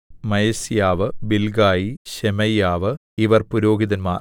Maaseiah Bilgai Shemaiah ഇവർ പുരോഹിതന്മാർ